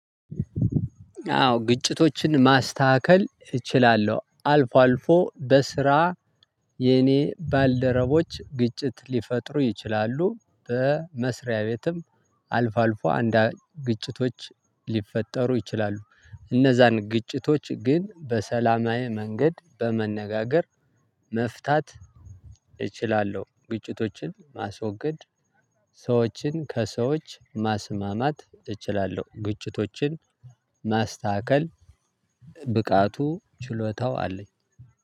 አዎ ግጭቶችን ማስተካከል እችላለው አልፎ አልፎ በስራ የኔ ባልደረቦች ግጭት ሊፈጥሩ ይችላሉ በመስሪያ ቤትም አልፎ አልፎ አንድ ግጭቶች ሊፈጠሩ ይችላሉ። እነዛን ግጭቶች ግን በሰላማዊ መንገድ በመነጋገር መፍታት እችላለው ግጭቶችን ማስወገድ ሰዎችን ከሰዎች ማስማማት እችላለው ግጭቶችን ማስተካከል ብቃቱ ችሎታው አለኝ።